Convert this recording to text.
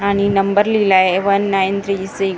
आणि नंबर लिहिलाय one nine three six कार्य--